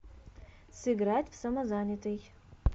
сыграть в самозанятый